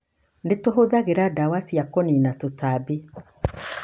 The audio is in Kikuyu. Nĩ tũhũthagĩra ndawa cia kũniina tũtambi